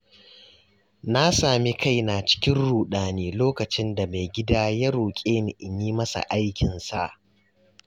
Na sami kaina cikin ruɗani lokacin da maigida ya roƙe ni in yi masa aikinsa.